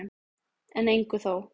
En engu þó.